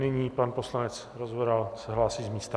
Nyní pan poslanec Rozvoral se hlásí z místa.